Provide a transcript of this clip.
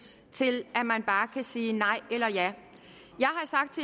til at man bare kan sige nej eller ja